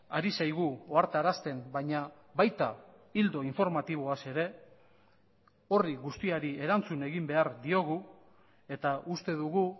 ari zaigu ohartarazten baina baita ildo informatiboaz ere horri guztiari erantzun egin behar diogu eta uste dugu